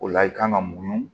O la i kan ka mun